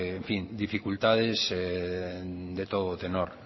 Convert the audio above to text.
dificultades de todo tenor